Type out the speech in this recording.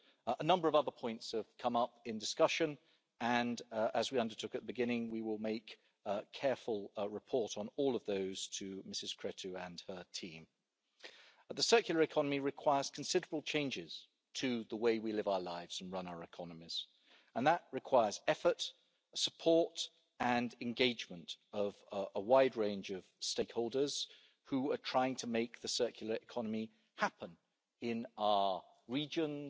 A number of other points have come up in discussion and, as we undertook at the beginning, we will make a careful report on all of those to Ms Creţu and her team. The circular economy requires considerable changes to the way we live our lives and run our economies, and that requires the effort, support and engagement of a wide range of stakeholders who are trying to make the circular economy happen in all regions,